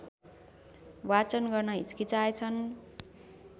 वाचन गर्न हच्किएछन्